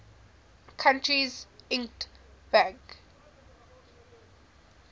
country's lgt bank